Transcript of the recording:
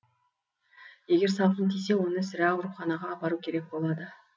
егер салқын тисе оны сірә ауруханаға апару керек болады